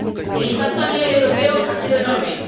El impacto a nivel europeo ha sido enorme.